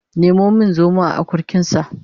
Nemo min zomo a akurkinsa